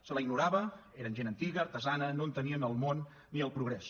se la ignorava eren gent antiga artesana no entenien el món ni el progrés